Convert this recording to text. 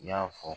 I y'a fɔ